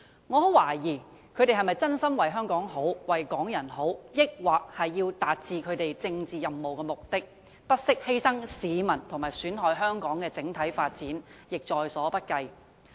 我很懷疑他們是否真心為香港好、為港人好，還是為了達致他們的政治任務和目的，不惜犧牲市民利益及損害香港的整體發展亦在所不計。